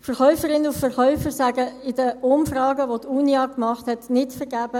Verkäuferinnen und Verkäufer sagen in den Umfragen, welche die Unia gemacht hat, nicht vergebens: